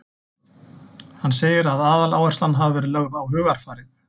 Hann segir að aðaláherslan hafi verið lögð á hugarfarið.